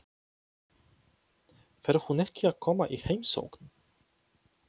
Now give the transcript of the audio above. Fer hún ekki að koma í heimsókn?